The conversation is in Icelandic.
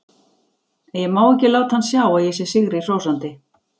Ég má ekki láta hann sjá að ég sé sigri hrósandi.